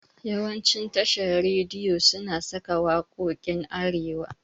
Yawancin tashan rediyi suna saka waƙokin arewa